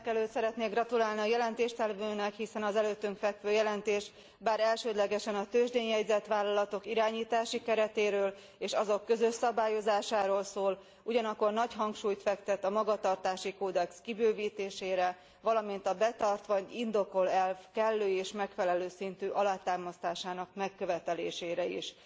Mindenekelőtt szeretnék gratulálni a jelentéstevőnek, hiszen az előttünk fekvő jelentés, bár elsődlegesen a tőzsdén jegyzett vállalatok irányítási keretéről és azok közös szabályozásáról szól, ugyanakkor nagy hangsúlyt fektet a magatartási kódex kibővítésére, valamint a betart vagy indokol elv kellő és megfelelő szintű alátámasztásának megkövetelésére is.